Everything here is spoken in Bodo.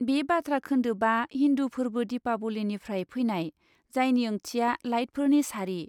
बे बाथ्रा खोन्दोबआ हिन्दु फोरबो दिपावलीनिफ्राय फैनाय, जायनि ओंथिया 'लाइटफोरनि सारि'।